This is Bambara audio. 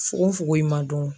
Fugonfugon in ma dɔn.